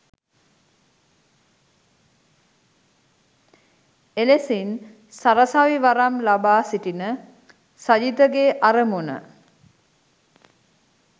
එලෙසින් සරසවි වරම් ලබා සිටින සජිතගේ අරමුණ